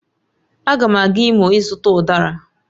Agam aga Imo ịzuta Udara